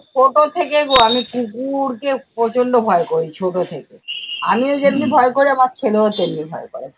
ছোট থেকেই গো আমি কুকুরকে প্রচন্ড ভয় করি ছোট থেকে। আমিও যেমনি ভয় করি আমার ছেলেও ভয় করে।